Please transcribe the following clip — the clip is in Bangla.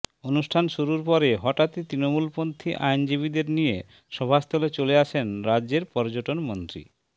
অনুষ্ঠান শুরুর পরে হঠাৎই তৃণমূলপন্থী আইনজীবীদের নিয়ে সভাস্থলে চলে আসেন রাজ্যের পর্যটন মন্ত্রী